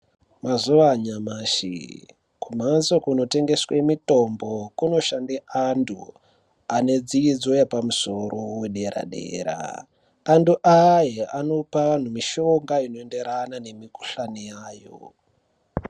Mazuva anyamashi kumhatso kunotengeswe mitombo kundoshande andu anedzidzo yepamusoro yedera dera andu aya anope vandu mishonga inoenderana nemikhuhlani yayo.